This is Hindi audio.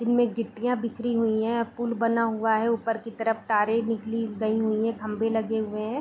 जिनमें गिट्टियाँ बिखरीं हुई हैं पूल बना हुआ है ऊपर की तरफ तारे निकली गई हुई हैं खंभे लगे हुए हैं।